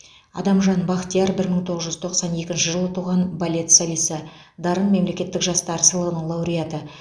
адамжан бақтияр бір мың тоғыз жүз тоқсан екінші жылы туған балет солисі дарын мемлекеттік жастар сыйлығының лауреаты